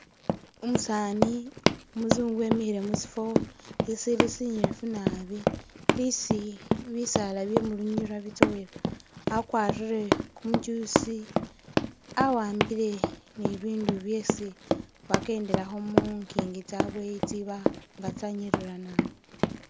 Umusaani umuzungu wemikhile musifo sisili sinyifu naabi isi bisaala byemulunyira bitsowela, akwarire kumujusi awambile ni bibindu byesi bakendelakho mungingi tsabele tsiba nga tsanyirira naabi